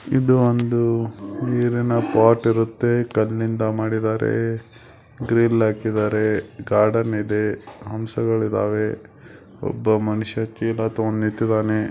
ಇದು ಒಂದು ನೀರಿನ ಪಾಟ್ ಇರುತ್ತೆ ಕಲ್ಲಿನಿಂದ ಮಾಡಿದ್ದಾರೆ ಗ್ರಿಲ್ ಹಾಕಿದ್ದಾರೆ ಗಾರ್ಡನ್ ಇದೆ ಹಂಸಗಳಿವೆ ಒಬ್ಬ ಮನುಷ್ಯ--